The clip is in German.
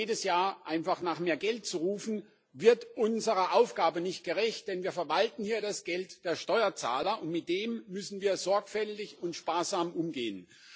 Jedes Jahr einfach nach mehr Geld zu rufen, wird unserer Aufgabe nicht gerecht, denn wir verwalten hier das Geld der Steuerzahler, und mit dem müssen wir sorgfältig und sparsam umgehen.